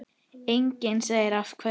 Enginn segir af hverju.